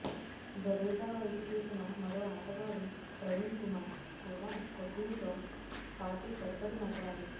జడేజా వైపు చూసిన మరో ఆటగాడు ప్రవీణ్ కుమార్ కూడా కోహ్లితో పాటు పడిపడి నవ్వాడు